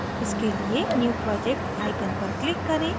इसके लिए new project icon पर click करें